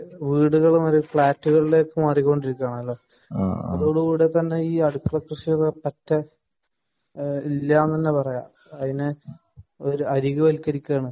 യഥാർത്ഥത്തിൽ വീടുകൾ വരെ ഫ്ളാറ്റുകളിലേക്ക് മാറിക്കൊണ്ടിരിക്കുകയാണ് അതോടുകൂടി തന്നെ പറ്റ ഇല്ല എന്ന് തന്നെ പറയാം. അതിനെ ഒരു അരികെ വച്ചിരിക്കയാണ്